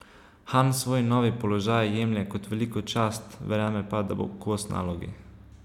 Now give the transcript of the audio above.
Han svoj novi položaj jemlje kot veliko čast, verjame pa, da bo kos nalogi.